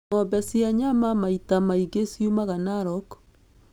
Ng'ombe cia nyama maita maingĩ ciumaga Narok.